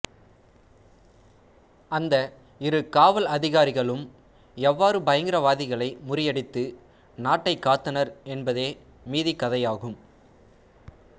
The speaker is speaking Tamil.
அந்த இரு காவல் அதிகாரிகளும் எவ்வாறு பயகரவாதிகளை முறியடித்து நாட்டை காத்தனர் என்பதே மீதிக் கதையாகும்